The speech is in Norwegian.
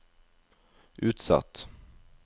utsatt